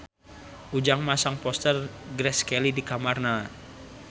Ujang masang poster Grace Kelly di kamarna